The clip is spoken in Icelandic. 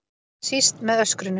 Síst með öskrinu.